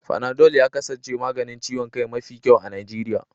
Fanadol ya kasance maganin ciwon kai mafi kyau a Najeriya.